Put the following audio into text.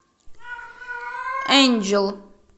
энджел